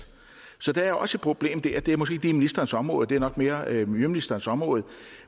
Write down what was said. så der er også et problem dér og det er måske ikke lige ministerens område det er nok mere miljøministerens område